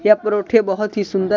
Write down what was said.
यह परोठे बहुत ही सुंदर हैं।